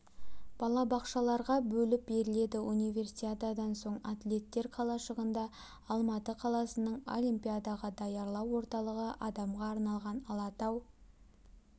балабақшаларға бөліп беріледі универсиададан соң атлеттер қалашығында алматы қаласының олимпиадаға даярлау орталығы адамға арналған алатау